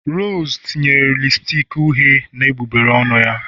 Rose tinye lipstick uhie na egbugbere ọnụ ya